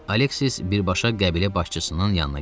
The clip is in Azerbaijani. Aleksis birbaşa qəbilə başçısının yanına getdi.